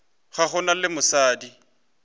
ga go na le mosadi